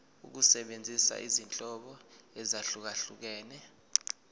ukusebenzisa izinhlobo ezahlukehlukene